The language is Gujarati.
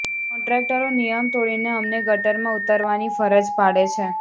કોન્ટ્રાક્ટરો નિયમ તોડીને અમને ગટરમાં ઉતરવાની ફરજ પાડે છે